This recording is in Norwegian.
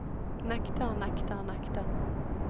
nekter nekter nekter